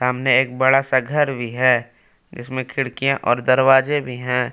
सामने एक बड़ा सा घर भी है जिसमें खिड़कियाँ और दरवाजे भी हैं।